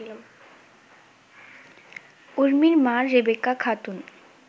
উর্মির মা রেবেকা খাতুন